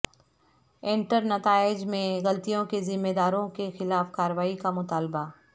انٹرنتائج میں غلطیوں کے ذمہ داروں کے خلاف کارروائی کا مطالبہ